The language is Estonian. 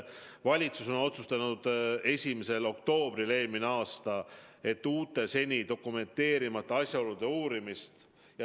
Valitsus on otsustanud 1. oktoobril eelmisel aastal, et tuleb alustada uute, seni dokumenteerimata asjaolude uurimist.